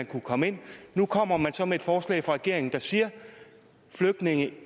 kunne komme ind nu kommer man så med et forslag fra regeringen der siger at flygtninge